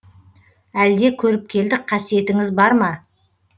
әлде көріпкелдік қасиетіңіз бар ма